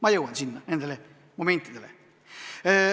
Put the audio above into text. Ma veel jõuan sinna, nende momentide juurde.